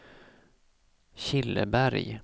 Killeberg